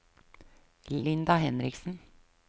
Linda Henriksen